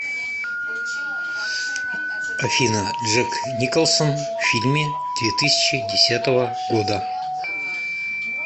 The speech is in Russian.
афина джек николсон в фильме две тысячи десятого года